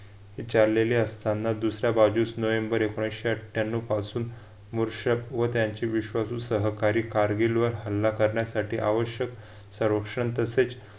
चाललेले असताना दुसर्‍या बाजूस नोव्हेंबर एकोणविशे अठ्ठयांनाव पासून मूषक व त्यांचे विश्वासू सहकारी कारगिल व हल्ला कारगिल वर हल्ला करण्यासाठी आवश्यक संरक्षण तसेच